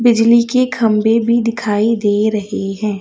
बिजली के खंबे भी दिखाई दे रहे हैं।